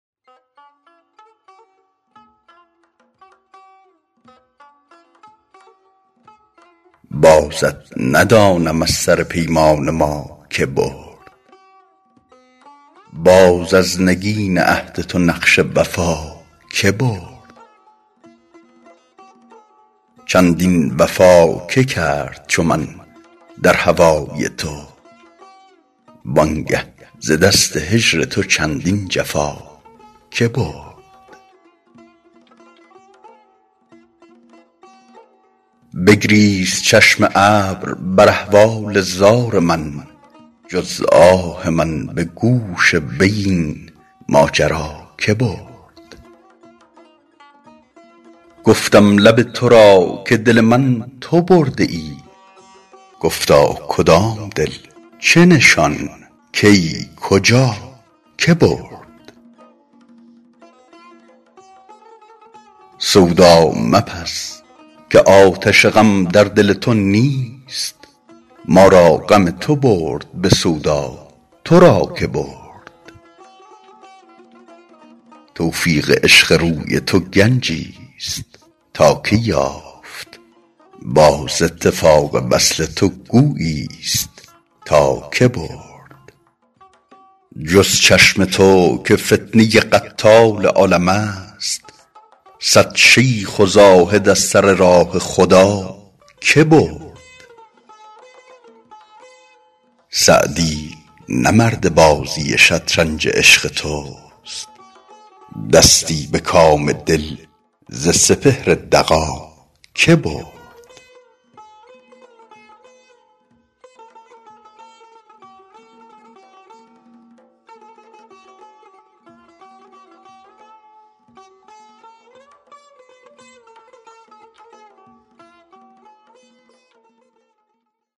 بازت ندانم از سر پیمان ما که برد باز از نگین عهد تو نقش وفا که برد چندین وفا که کرد چو من در هوای تو وان گه ز دست هجر تو چندین جفا که برد بگریست چشم ابر بر احوال زار من جز آه من به گوش وی این ماجرا که برد گفتم لب تو را که دل من تو برده ای گفتا کدام دل چه نشان کی کجا که برد سودا مپز که آتش غم در دل تو نیست ما را غم تو برد به سودا تو را که برد توفیق عشق روی تو گنجیست تا که یافت باز اتفاق وصل تو گوییست تا که برد جز چشم تو که فتنه قتال عالمست صد شیخ و زاهد از سر راه خدا که برد سعدی نه مرد بازی شطرنج عشق توست دستی به کام دل ز سپهر دغا که برد